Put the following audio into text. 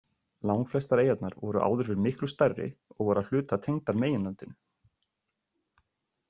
Langflestar eyjarnar voru áður fyrr miklu stærri og voru að hluta tengdar meginlandinu.